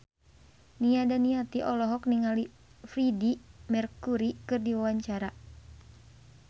Nia Daniati olohok ningali Freedie Mercury keur diwawancara